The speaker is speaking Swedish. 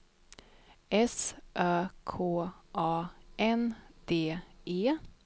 S Ö K A N D E